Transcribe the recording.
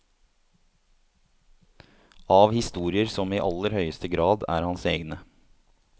Av historier som i aller høyeste grad er hans egne.